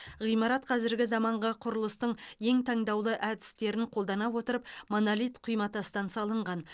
ғимарат қазіргі заманғы құрылыстың ең таңдаулы әдістерін қолдана отырып монолит құйматастан салынған